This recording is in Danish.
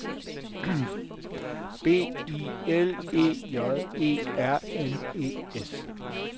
B I L E J E R N E S